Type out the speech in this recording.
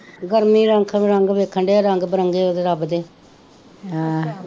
ਗਰਮੀ ਰੰਗ ਬਿਰੰਗ ਵੇਖਣ ਡੇਏ ਹਾਂ, ਰੰਗ ਬਿਰੰਗੇ ਉਹਦੇ ਰੱਬ ਦੇ, ਹਾਂ